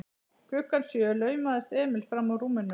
Klukkan sjö laumaðist Emil frammúr rúminu.